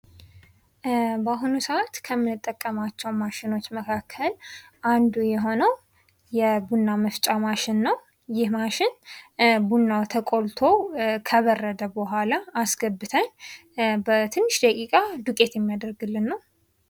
በአሁኑ ሰአት ከምንጠቀማቸው ማሽኖች መካከል አንዱ የሆነው የቡና መፍጫ ማሽን ነው። ይህ ማሽን ቡናው ተቆልቶ ከበረደ በኋላ አስገብተን በትንሽ ደቂቃ ዱቄት የሚያደርግልን ነው።